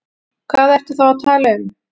Hvað ertu þá að tala um?